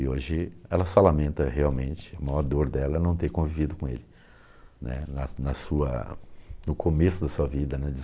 E, hoje, ela só lamenta realmente, a maior dor dela é não ter convivido com ele, né, na na sua... no começo da sua vida, na